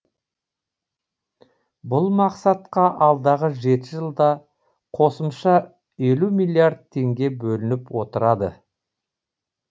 бұл мақсатқа алдағы жеті жылда қосымша елу миллиард теңге бөлініп отырады